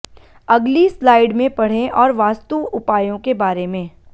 अगली स्लाइड में पढ़े और वास्तु उपायों के बारें में